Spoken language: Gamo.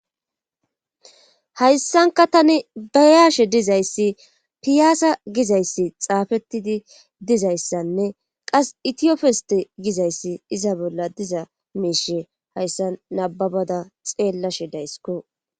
hayssanka tani bayaashe dizayssi piyaasa gizayssi xaafettidi dizayssanne qas itiyofeste gizayssi iza bolla diza miishe hayssa nababada xeellashe daysiko